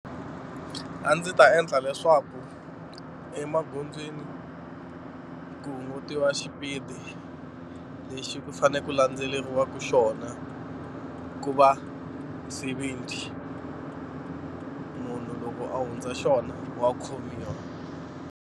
A ndzi ta endla leswaku emagondzweni ku hungutiwa xipidi lexi ku fanele ku landzeleriwaka xona ku va seventy munhu loko a hundza xona wa khomiwa.